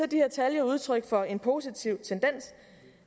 de her tal jo udtryk for en positiv tendens